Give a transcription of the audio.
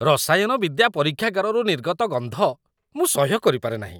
ରସାୟନ ବିଦ୍ୟା ପରୀକ୍ଷାଗାରରୁ ନିର୍ଗତ ଗନ୍ଧ ମୁଁ ସହ୍ୟ କରିପାରେ ନାହିଁ।